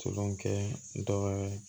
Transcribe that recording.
Tolon kɛ dɔ ye